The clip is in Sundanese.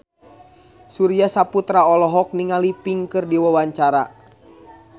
Surya Saputra olohok ningali Pink keur diwawancara